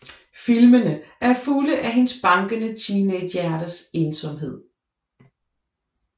Filmene er fulde af hendes bankende teenagehjertes ensomhed